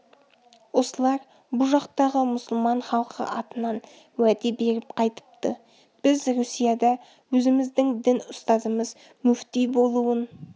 осылар бұ жақтағы мұсылман халқы атынан уәде беріп қайтыпты біз русияда өзіміздің дін ұстазымыз мүфти болуын